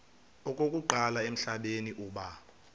okokuqala emhlabeni uba